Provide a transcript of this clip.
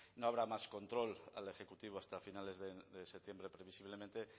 no habrá más control al ejecutivo hasta a finales de septiembre previsiblemente